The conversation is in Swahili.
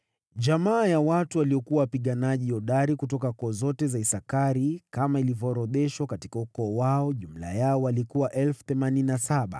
Jamaa ya watu waliokuwa wapiganaji hodari kutoka koo zote za Isakari, kama ilivyoorodheshwa katika ukoo wao, jumla yao walikuwa 87,000.